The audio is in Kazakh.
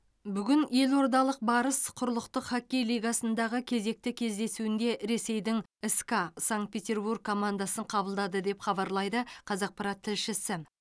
бүгін елордалық барыс құрлықтық хоккей лигасындағы кезекті кездесуінде ресейдің ска санкт петербург командасын қабылдады деп хабарлайды қазақпарат тілшісі